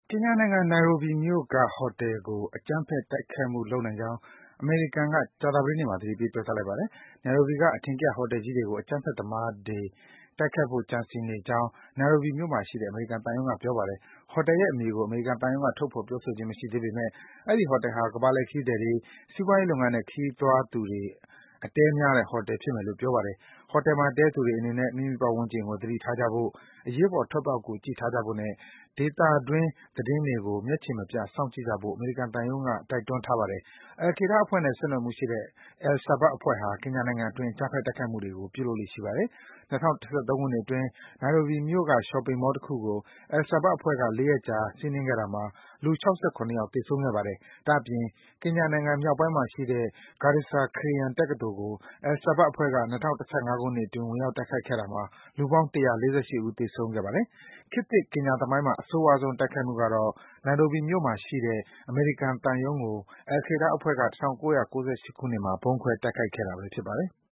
ကင်ညာနိုင်ငံ၊ နိုင်ရိုးဘီမြို့က ဟိုတယ်ကို အကြမ်းဖက် တိုက်ခိုက်မှုလုပ်နိုင်ကြောင်း အမေရိကန်က ကြာသပတေးနေ့မှာ သတိပေး ပြောကြားလိုက်ပါတယ်။ နိုင်ရိုးဘီမြို့က အထင်ကရ ဟိုတယ်ကြီးတွေကို အကြမ်းဖက်သမားတွေကို တိုက်ခိုက်ဖို့ ကြံစည်နေကြောင်း နိုင်ရိုးဘီမြို့မှာရှိတဲ့ အမေရိကန်သံရုံးက ပြောပါတယ်။ ဟိုတယ်ရဲ့အမည်ကို အမေရိကန်သံရုံးက ထုတ်ဖော် ပြောဆိုခြင်းမရှိပေမယ့် အဲဒီဟိုတယ်ဟာ ကမ္ဘာလှည့်ခရီးသည်တွေ၊ စီးပွားရေးလုပ်ငန်းနဲ့ ခရီးသွားသူတွေ အတည်းများတဲ့ ဟိုတယ်ဖြစ်မယ်လို့ ပြောပါတယ်။ ဟိုတယ်မှာတည်းသူတွေအနေနဲ့ မိမိပတ်ဝန်းကျင်ကို သတိထားကြဖို့၊ အရေးပေါ် ထွက်ပေါက်ကို ကြည့်ထားကြဖို့နဲ့ သေဒတွင်းသတင်းတွေကို မျက်ခြေမပြတ် စောင့်ကြည့်ကြဖို့ အမေရိကန်သံရုံးက တိုက်တွန်းထားပါတယ်။ Al-Qaida အဖွဲ့နဲ့ ဆက်နွယ်မှုရှိတဲ့ Al-Shabab အဖွဲ့ဟာ ကင်ညာနိုင်ငံအတွင်း အကြမ်းဖက်တိုက်ခိုက်မှုတွေ ပြုလုပ်လေ့ရှိပါတယ်။ ၂၀၁၃ ခုနှစ်အတွင်း နိုင်ရိုးဘီမြို့က Shopping Mall တခုကို Al-Shabab အဖွဲ့က ၄ ရက်ကြာ စီးနင်းခဲ့တာမှာ လူ ၆၇ ယောက် သေဆုံးခဲ့ပါတယ်။ ဒါ့အပြင် ကင်ညာနိုင်ငံမြောက်ပိုင်းမှာရှိတဲ့ Garissa ခရစ်ယာန် တက္ကသိုလ်ကို Al-Shabab အဖွဲ့က ၂၀၁၅ ခုနှစ်အတွင်း ဝင်ရောက် တိုက်ခိုက်ခဲ့တာမှာ လူပေါင်း ၁၄၈ ဦး သေဆုံးခဲ့ပါတယ်။ ခေတ်သစ် ကင်ညာသမိုင်းမှာ အဆိုးရွားဆုံးတိုက်ခိုက်မှုကတော့ နိုင်ရိုးဘီမြို့မှာရှိတဲ့ အမေရိကန်သံရုံးကို al-Qaida အဖွဲ့က ၁၉၉၈ ခုနှစ်မှာ ဗုံးခွဲ တိုက်ခိုက်ခဲ့တာဘဲ ဖြစ်ပါတယ်။